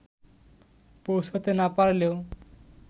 পৌঁছাতে না পারলেও